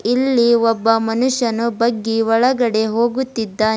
ಇಲ್ಲಿ ಒಬ್ಬ ಮನುಷ್ಯನು ಬಗ್ಗಿ ಒಳಗಡೆ ಹೋಗುತ್ತಿದ್ದಾನೆ.